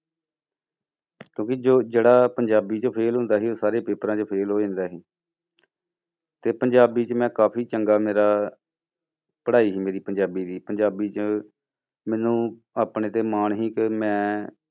ਕਿਉਂਕਿ ਜੋ ਜਿਹੜਾ ਪੰਜਾਬੀ ਚੋਂ fail ਹੁੰਦਾ ਸੀ, ਉਹ ਸਾਰੇ ਪੇਪਰਾਂ ਚੋਂ fail ਹੋ ਜਾਂਦਾ ਸੀ ਤੇ ਪੰਜਾਬੀ 'ਚ ਮੈਂ ਕਾਫ਼ੀ ਚੰਗਾ ਮੇਰਾ ਪੜ੍ਹਾਈ ਸੀ ਮੇਰੀ ਪੰਜਾਬੀ ਦੀ ਪੰਜਾਬੀ 'ਚ ਮੈਨੂੰ ਆਪਣੇ ਤੇ ਮਾਣ ਸੀ ਕਿ ਮੈਂ